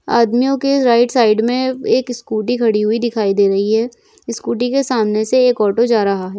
आदमियों के right side में एक स्कूटी खड़ी हुई दिखाई दे रही है स्कूटी के सामने से एक आॕटो जा रहा है।